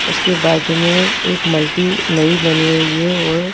उसके बाजूमें एक मल्टी नई बनी हुई है और--